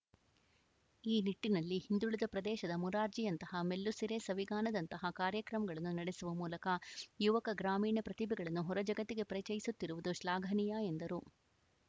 ಈ ನಿಟ್ಟಿನಲ್ಲಿ ಹಿಂದುಳಿದ ಪ್ರದೇಶದ ಮುರಾರ್ಜಿಯಂತಹ ಮೆಲ್ಲುಸಿರೆ ಸವಿಗಾನದಂತಹ ಕಾರ್ಯಕ್ರಮಗಳನ್ನು ನಡೆಸುವ ಮೂಲಕ ಯುವಕ ಗ್ರಾಮೀಣ ಪ್ರತಿಭೆಗಳನ್ನು ಹೊರ ಜಗತ್ತಿಗೆ ಪರಿಚಯಿಸುತ್ತಿರುವುದು ಶ್ಲಾಘನೀಯ ಎಂದರು